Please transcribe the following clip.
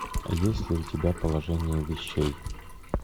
есть ли у тебя положение вещей